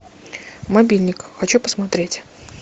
мобильник хочу посмотреть